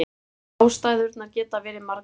Ástæðurnar geta verið margvíslegar.